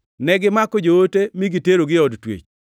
Negimako joote mi giterogi e od twech.